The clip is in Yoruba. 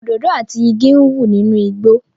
Òdòdó àti igi ń wù nínú igbó